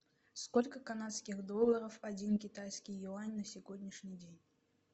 сколько канадских долларов один китайский юань на сегодняшний день